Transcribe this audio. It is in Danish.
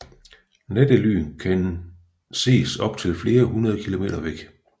Nattelyn kan ses op til flere hundrede kilometer væk